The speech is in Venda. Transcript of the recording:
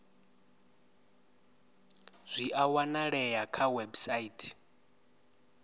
zwi a wanalea kha website